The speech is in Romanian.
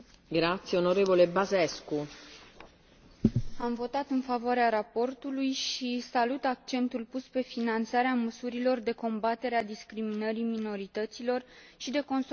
Am votat în favoarea raportului și salut accentul pus pe finanțarea măsurilor de combatere a discriminării minorităților și de consolidare a statului de drept în țările în curs de aderare.